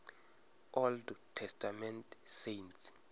old testament saints